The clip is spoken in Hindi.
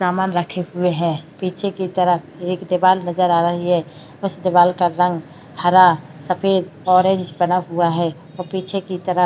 सामान रखे हुए हैं पीछे की तरफ एक दीवाल नजर आ रही है। उस दीवाल का रंग हरा सफ़ेद ऑरेंज बना हुआ है और पीछे की तरफ --